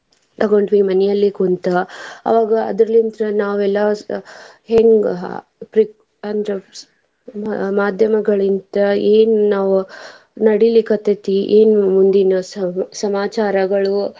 ತಗೊಂಡ್ವಿ ಮನೇಲಿ ಕುಂತ ಅವಾಗ ಆದ್ರಲಿಂತ ನಾವ್ ಎಲ್ಲಾ ಹೆಂಗ್ ಅಂದ್ರ ಮಾದ್ಯಮಗಳಿಂದ ಏನ್ ನಾವ್ ನಡಿಲಿಕತ್ತೇತಿ ಏನ್ ಮುಂದಿನ ಸಮಾಚಾರಗಳು.